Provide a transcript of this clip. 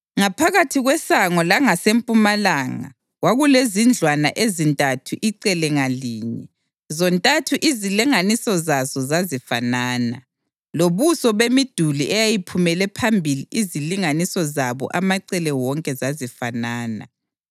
Ngaphakathi kwesango langasempumalanga kwakulezindlwana ezintathu icele ngalinye; zontathu izilinganiso zazo zazifanana, lobuso bemiduli eyayiphumele phambili izilinganiso zabo amacele wonke zazifanana.